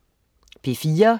P4: